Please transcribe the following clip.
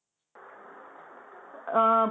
ആഹ്